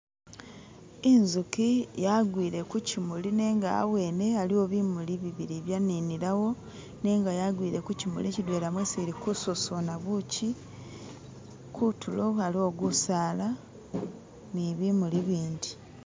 inzuki yagwile kuchimuli nenga awene aliwo bimuli bibili ibyaninilawo nenga yagwile kuchimuli chidwela mwesi ili kususuna buchi kutulo aliwo gusaala nibimuli bindi